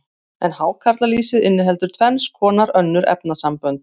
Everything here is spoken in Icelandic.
en hákarlalýsið inniheldur tvenns konar önnur efnasambönd